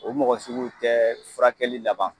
O mɔgɔsuguw tɛ furakɛli laban.